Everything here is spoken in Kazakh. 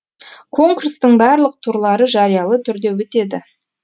конкурстың барлық турлары жариялы түрде өтеді